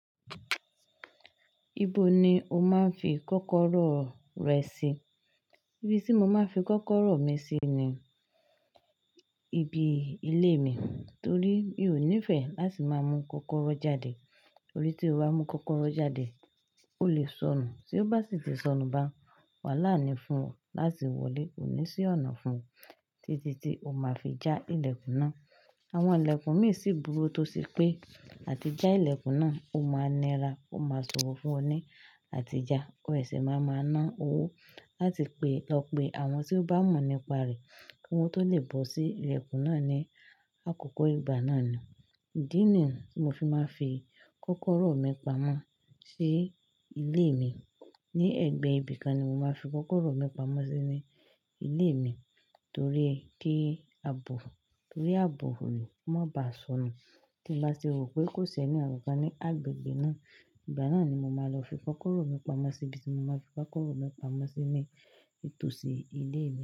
Ibo ni o máa ń fi kọ́kọ́rọ́ rẹ sí? Ibí tí mo máa ń fi kọ́kọ́rọ́ mi sí ni ibi ilé mi, torí mi ò nífẹ̀ẹ́ láti máa mú kọ́kọ́rọ́ jáde. Torí tí o bá mú kọ́kọ́rọ́ jáde, o le sọnù, tí ó bá sì ti sọnù bá, wàhálà ni fún ọ láti wọlé. Kò ní sí ọ̀nà fún ọ títí tí o máa fi já ìlẹ̀kùn náà. Àwọn ìlẹ̀kùn mi sì burú tó sì pé, àti já ìlẹ̀kùn náà, o máa nira, o máa sọ̀rọ̀ fún ọ ní àti já, ó sì máa máa ná owó láti pe ọ pe àwọn tí ó bá mọ̀ nípa rẹ̀ kí wọ́n tó lè bọ́ sí ìlẹ̀kùn náà ní àkókò ìgbà náà ni. Idi nìyẹn tí mo fi máa ń fi kọ́kọ́rọ́ mi pamọ́ sí ilé mi. Ni ẹgbẹ́ ibìkan ni mo máa ń fi kọ́kọ́rọ́ mi pamọ́ sí ní ilé mi torí kí àbò, torí àbò rẹ̀, kó má bá sọnù. Tí mo bá sì rò pé kò sí ẹnì kankan ní agbègbè náà, ìgbà náà ni mo máa lọ fi kọ́kọ́rọ́ mi pamọ́ síbi tí mo máa ń fi kọ́kọ́rọ́ mi pamọ́ sí ní tòsí ilé mi.